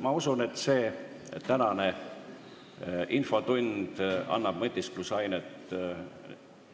Ma usun, et see tänane infotund annab mõtiskluse ainet